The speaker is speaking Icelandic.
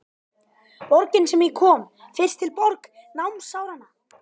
Borgin sem ég kom fyrst til, borg námsáranna.